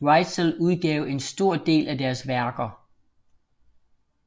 Reitzel udgav en stor del af deres værker